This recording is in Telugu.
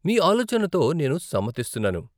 మీ ఆలోచనతో నేను సమ్మతిస్తున్నాను.